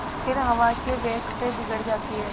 फिर हवा के वेग से बिगड़ जाती हैं